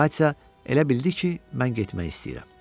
Amma Katya elə bildi ki, mən getmək istəyirəm.